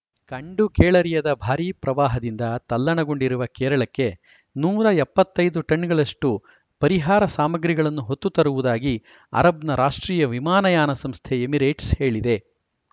ಕಂಡುಕೇಳರಿಯದ ಭಾರೀ ಪ್ರವಾಹದಿಂದ ತಲ್ಲಣಗೊಂಡಿರುವ ಕೇರಳಕ್ಕೆ ನೂರ ಎಪ್ಪತ್ತ್ ಐದು ಟನ್‌ಗಳಷ್ಟುಪರಿಹಾರ ಸಾಮಗ್ರಿಗಳನ್ನು ಹೊತ್ತು ತರುವುದಾಗಿ ಅರಬ್‌ನ ರಾಷ್ಟ್ರೀಯ ವಿಮಾನಯಾನ ಸಂಸ್ಥೆ ಎಮಿರೇಟ್ಸ್‌ ಹೇಳಿದೆ